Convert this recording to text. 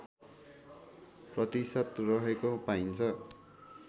प्रतिशत रहेको पाइन्छ